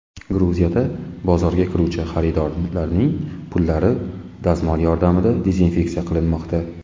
Gruziyada bozorga kiruvchi xaridorlarning pullari dazmol yordamida dezinfeksiya qilinmoqda .